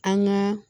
An gaa